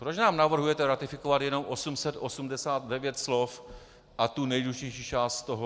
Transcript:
Proč nám navrhujete ratifikovat jenom 889 slov a tu nejdůležitější část z toho ?